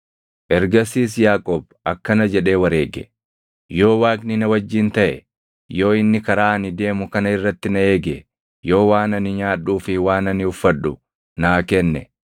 Ergasiis Yaaqoob akkana jedhee wareege; “Yoo Waaqni na wajjin taʼe, yoo inni karaa ani deemu kana irratti na eege, yoo waan ani nyaadhuu fi waan ani uffadhu naa kenne,